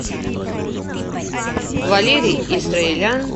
валерий исраелян